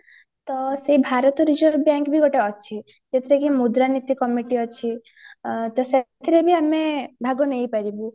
ତ ସେ ଭାରତରେ ବ୍ୟାଙ୍କ ବି ଅଛି ଗୋଟେ ସେଥିରେ କି ମୁଦ୍ରାନୀତ commit ଅଛି ଅ ତ ସେଥିରେ ବି ଆମେ ଭାଗ ନେଇପାରିବୁ